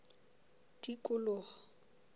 tikoloho